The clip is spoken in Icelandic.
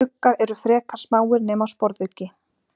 Uggar eru frekar smáir nema sporðuggi.